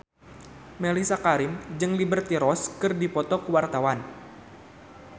Mellisa Karim jeung Liberty Ross keur dipoto ku wartawan